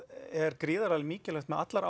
er gríðarlega mikilvægt með allar